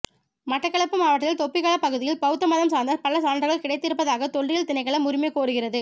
மட்டக்களப்பு மாவட்டத்தில் தொப்பிகல பகுதியில் பௌத்த மதம் சார்ந்த பல சான்றுகள் கிடைத்து இருப்பதாக தொல்லியல் திணைக்களம் உரிமை கோருகிறது